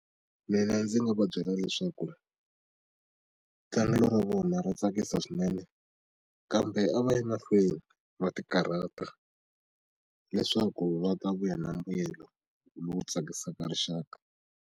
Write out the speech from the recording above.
Mina ndzi nga va byela leswaku tlangelo ra vona ra tsakisa swinene kambe a va yi mahlweni va ti karhata leswaku va ta vuya na mbuyelo lowu tsakisaka rixaka.